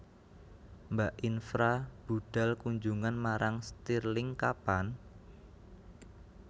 Mbak Infra budhal kunjungan marang stirling kapan?